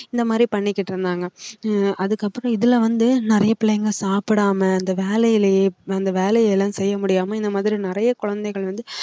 இந்த மாதிரி பண்ணிக்கிட்டு இருந்தாங்க அஹ் அதுக்கப்புறம் இதுல வந்து நிறைய பிள்ளைங்க சாப்பிடாம இந்த வேலையிலேயே அந்த வேலை எல்லாம் செய்ய முடியாம இந்த மாதிரி நிறைய குழந்தைகள் வந்து